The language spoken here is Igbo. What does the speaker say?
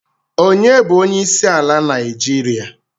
Ọnye bu onyeisiala Naijiria?